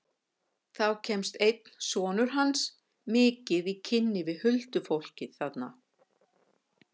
Þá kemst einn sonur hans mikið í kynni við huldufólkið þarna.